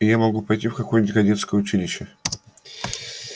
и я могу пойти в какое-нибудь кадетское училище